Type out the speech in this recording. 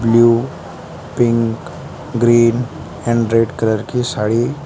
blue pink green and red colour की साड़ी--